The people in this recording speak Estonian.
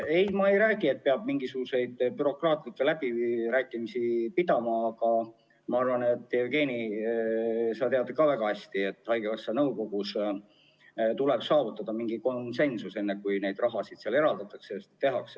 Ei, ma ei räägi, et peab mingisuguseid bürokraatlikke läbirääkimisi pidama, aga Jevgeni, sa tead ju väga hästi, et haigekassa nõukogus tuleb saavutada konsensus, enne kui raha eraldatakse.